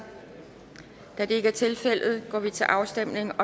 da det ikke er tilfældet går vi til afstemning